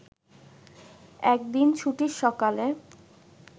একদিন ছুটির সকালে